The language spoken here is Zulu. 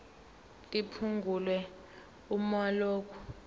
liphungulwe uma lokhu